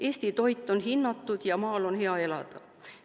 Eesti toit on hinnatud ja maal on hea elada.